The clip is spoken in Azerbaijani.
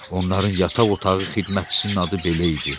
Onların yataq otağı xidmətçisinin adı belə idi.